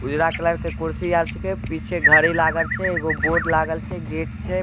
उजला कलर के कुर्सी आर छींके पीछे घड़ी लागाल छै एगो बोर्ड लागाल छै गेट छै।